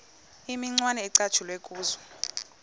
imicwana ecatshulwe kuzo